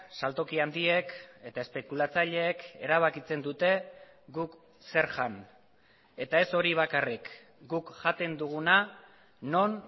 saltoki handiek eta espekulatzaileek erabakitzen dute guk zer jan eta ez hori bakarrik guk jaten duguna non